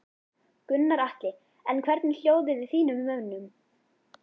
Gunnar Atli: En hvernig er hljóðið í þínum mönnum?